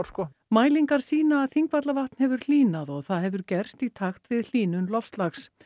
mælingar sýna að Þingvallavatn hefur hlýnað og það hefur gerst í takt við hlýnun loftslags